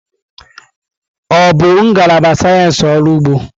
Ọ bụ ngalaba sayensị ọrụ ugbo?